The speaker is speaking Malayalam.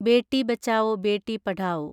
ബേട്ടി ബച്ചാവോ ബേട്ടി പഠാവോ